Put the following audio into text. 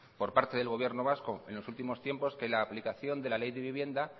por parte del gobierno vasco en los últimos tiempos que la aplicación de la ley de vivienda